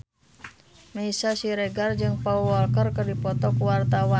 Meisya Siregar jeung Paul Walker keur dipoto ku wartawan